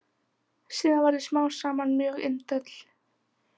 Síðan verð ég smám saman mjög indæll.